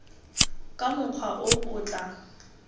ka mokgwa o o tla